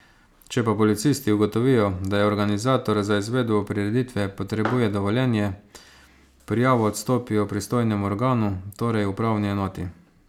Če pa policisti ugotovijo, da organizator za izvedbo prireditve potrebuje dovoljenje, prijavo odstopijo pristojnemu organu, torej upravni enoti.